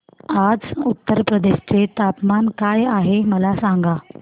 आज उत्तर प्रदेश चे तापमान काय आहे मला सांगा